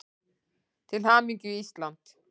Til hamingju Ísland.